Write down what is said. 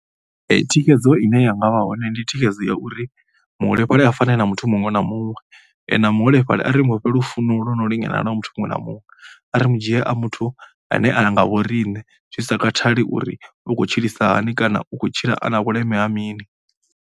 Thikhedzo ine ya nga vha hone ndi thikhedzo ya uri muholefhali a fane na muthu muṅwe na muṅwe. Na muholefhali a ri mu fhe lufuno lwo no lingana na lwa muthu muṅwe na muṅwe. A ri mu dzhie a muthu ane a nga vho rine zwi sa khathali uri u khou tshilisa hani kana u khou tshila a na vhuleme ha mini.